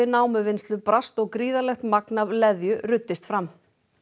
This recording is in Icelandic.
námuvinnslu brast og gríðarlegt magn af leðju ruddist fram